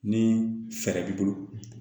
Ni fɛɛrɛ b'i bolo